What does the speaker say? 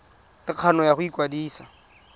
le kgano ya go ikwadisa